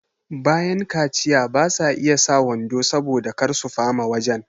bayan kaciya basa iya sa wando saboda kar su fama wajan